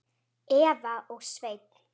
Eva og Sveinn.